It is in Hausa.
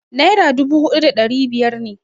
Naira dubu huɗu da ɗari biyar ne.